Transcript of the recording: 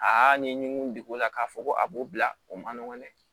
Aa ni mun degunna k'a fɔ ko a b'o bila o man nɔgɔn dɛ